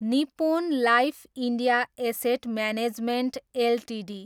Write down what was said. Nippon life India asset management Ltd